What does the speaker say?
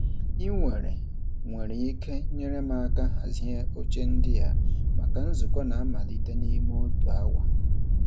Ị nwere nwere ike inyere m aka hazie oche ndị a maka nzukọ na-amalite n'ime otu awa.